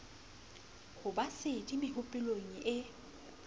ho ba sedi mehopolong e